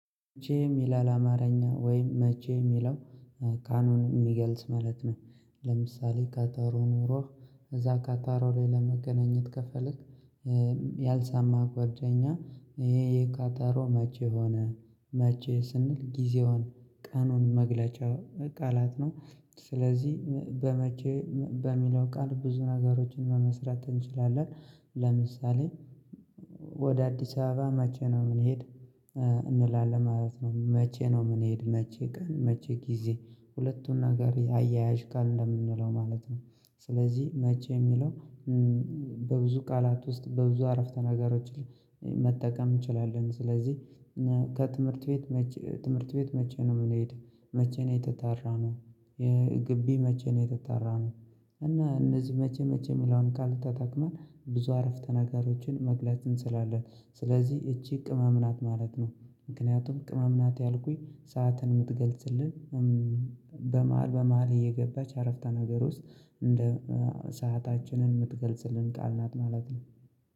መቼ የሚለል አማርኛ ወይም መቼ የሚለው ካኑን የሚገልጽ ማለት ነው። ለምሳሌ፣ ቀጠሮ ኑሮህ፣ እዛ ቀጠሮ ላይ ለመገነኝት ከፈለግ፣ ያልሰማ ጓደኛ፣ ይህ የቀጠሮ መቼ ሆነ? መቼ ስንል ጊዜውን፣ ቀኑን መግለጫ ቃላት ነው። ስለዚህ በመቼ በሚለው ቃል ብዙ ነገሮችን መመስረት እንችላለን። ለምሳሌ፣ ወደ አዲስ አበባ መቼ ነው ምን ሄድ እንላለን ማለት ነው። መቼ ነው ምን ሄድ መቼ ቀን መቼ ጊዜ። ሁለትን ነገር አያያዥ ቃል እንደምንለው ማለት ነው። ስለዚህ መቼ የሚለው በብዙ ቃላት ውስጥ በብዙ አረፍተ ነገሮች መጠቃም እንችላለን። ስለዚህ ከትምህርት ቤት መቼ ትምህርት ቤት መቼ ነው ምን ሄድ መቼ ነው የተጠራነው ግቢ መቼ ነው የተጠራነው እና እነዚህ መቼ መቼ የሚለውን ቃል ተተቅመን ብዙ አረፍተ ነገሮችን መግለጽ እንችላለን። ስለዚህ እዚህ ቅመም ናት ማለት ነው። ምክንያትም ቅመም ናት ያልኩኝ ሰዓትን ምትገልጽልን በመሃል በመሃል እየገባች አረፍታ ነገር ውስጥ እንደ ሰአታችንን ምትገልጽልን ቃላት ማለት ነው።